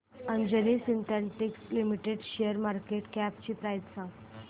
Anjani synthetics limited शेअरची market cap price सांगा